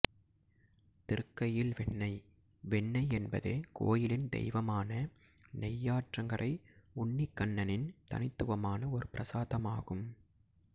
திருக்கையில்வெண்ணை வெண்ணெய் என்பது கோயிலின் தெய்வமான நெய்யாற்றங்கரை உன்னிகண்ணனின் தனித்துவமான ஒரு பிரசாதமாகும்